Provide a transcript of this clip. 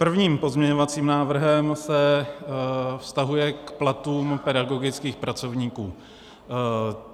První pozměňovací návrh se vztahuje k platům pedagogických pracovníků.